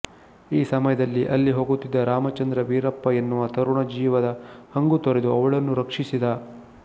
ಈ ಸಮಯದಲ್ಲಿ ಅಲ್ಲಿ ಹೋಗುತ್ತಿದ್ದ ರಾಮಚಂದ್ರ ವೀರಪ್ಪ ಎನ್ನುವ ತರುಣ ಜೀವದ ಹಂಗು ತೊರೆದು ಅವಳನ್ನು ರಕ್ಷಿಸಿದ